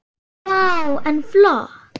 Vá, en flott.